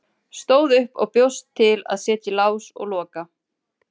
Stóð upp og bjóst til að setja í lás og loka.